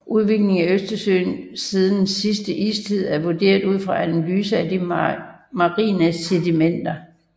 Udviklingen af Østersøen siden sidste istid er vurderet ud fra analyser af de marine sedimenter